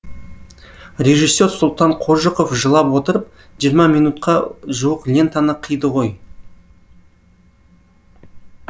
режиссер сұлтан қожықов жылап отырып жиырма минутқа жуық лентаны қиды ғой